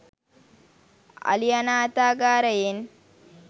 අලි අනාථාගාරයෙන්